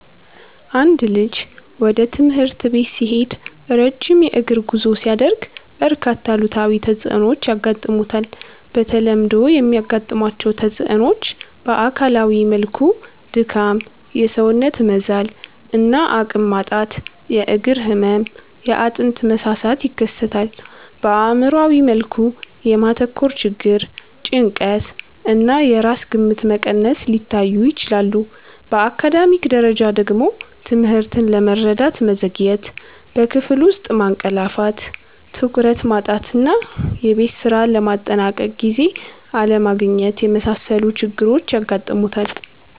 አንድ ልጅ ወደ ትምህርት ቤት ሲሄድ ረጅም የእግር ጉዞ ሲያደርግ፣ በርካታ አሉታዊ ተጽዕኖዎች ያጋጥሙታል። በተለምዶ የሚያጋጥሟቸው ተጽዕኖዎች በአካላዊ መልኩ ድካም፣ የሰውነት መዛል እና አቅም ማጣት፣ የእግር ህመም፣ የአጥንት መሳሳት ይከሰታል። በአእምሯዊ መልኩ የማተኮር ችግር፣ ጭንቀት እና የራስ ግምት መቀነስ ሊታዩ ይችላሉ። በአካዳሚክ ደረጃ ደግሞ ትምህርትን ለመረዳት መዘግየት፣ በክፍል ውስጥ ማንቀላፋት፣ ትኩረት ማጣት እና የቤት ስራ ለማጠናቀቅ ጊዜ አለማግኘት የመሳሰሉ ችግሮች ያጋጥሙታል።